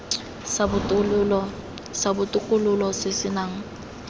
sa botokololo se se nang